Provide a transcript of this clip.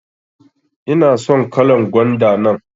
ina son kalan gwanda nan.